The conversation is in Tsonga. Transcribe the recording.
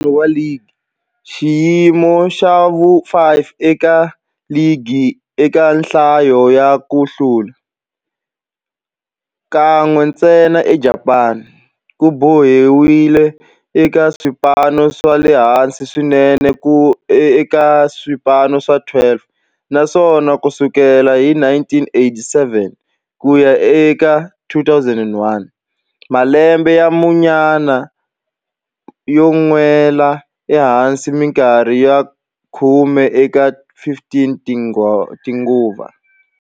Ku hlula ka ntlhanu wa ligi, xiyimo xa vu-5 eka ligi eka nhlayo ya ku hlula, kan'we ntsena eJapani, ku boheleriwile eka swipano swa le hansi swinene eka swipano swa 12, naswona ku sukela hi 1987 ku ya eka 2001, malembe ya munyama yo nwela ehansi minkarhi ya khume eka 15 tinguva.